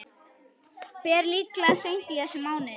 Ber líklega seint í þessum mánuði.